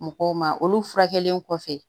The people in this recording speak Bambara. Mɔgɔw ma olu furakɛli kɔfɛ